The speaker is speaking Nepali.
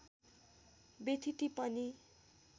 बेथिति पनि